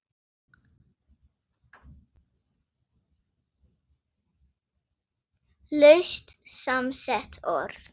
Laust samsett orð